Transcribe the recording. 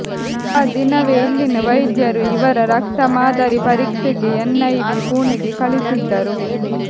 ಆ ದಿನವೇ ಇಲ್ಲಿನ ವೈದ್ಯರು ಇವರ ರಕ್ತ ಮಾದರಿ ಪರೀಕ್ಷೆಗೆ ಎನ್ ಐವಿ ಪುಣೆಗೆ ಕಳಿಸಿದ್ದರು